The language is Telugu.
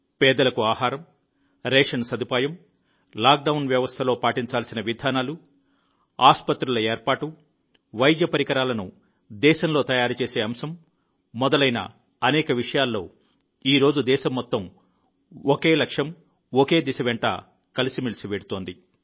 పేదలకు ఆహారం రేషన్ సదుపాయం లాక్డౌన్ వ్యవస్థలో పాటించాల్సిన విధానాలు ఆస్పత్రులు ఏర్పాటు వైద్య పరికరాలను దేశంలో తయారు చేసే అంశం మొదలైన అనేక విషయాల్లో ఈరోజు దేశం మొత్తం ఒక లక్ష్యం ఒక దిశ వెంట కలిసిమెలిసి వెళ్తోంది